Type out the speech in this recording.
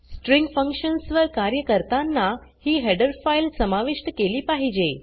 string functions वर कार्य करतांना ही हेडर फाइल समाविष्ट केली पाहिजे